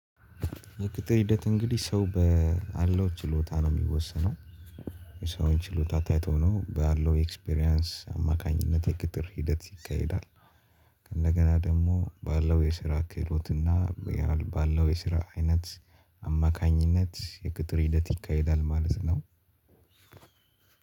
የቅጥር ሂደት እንግዲህ ሰው ባለው ችሎታ ነው የሚወሰነው የሰውን ችሎታ ታይቶ ነው ባለው ኤክስፒሪያንስ አማካኝነት የቅጥር ሂደት ይካሄዳል። እንደገና ደግሞ ባለው የስራ ክህሎትና ባለው የስራ አይነት አማካኝነት የቅጥር ሂደት ይካሄዳል ማለት ነው።